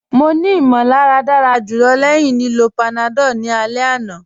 Mọ̀ ní ìmọ̀làrà dára julọ̀ lẹ́ẹ̀hin lìlọ́ panadol ni alẹ̀ àná.